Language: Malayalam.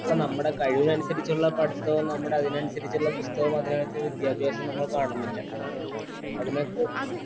നമ്മടെ കഴിവിനു അനുസരിച്ചുള്ള പഠിത്തവും നമ്മടെ അതിനനുസരിച്ചുള്ള പുസ്തകവും അതിനനുസരിച്ചുള്ള വിദ്യാഭ്യാസവും നമ്മൾ കാണുന്നില്ല അതിലേക്ക്